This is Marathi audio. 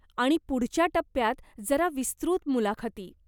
आणि पुढच्या टप्प्यात जरा विस्तृत मुलाखती.